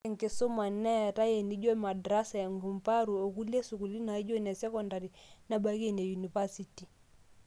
ore enkisuma neetae inijo madrasa, kumbarru, onkulie esukuul naijo enesekondari nebaiki ene university